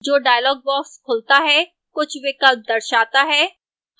जो dialog box खुलता है कुछ विकल्प दर्शाता है